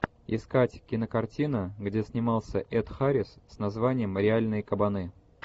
искать кинокартина где снимался эд харрис с названием реальные кабаны